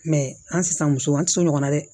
Mɛ an tɛ san muso an tɛ sɔn ɲɔgɔn na dɛ